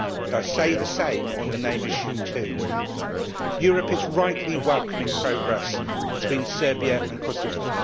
I say the same concerning the name issue too. Europe is rightly welcoming progress between Serbia and Kosovo.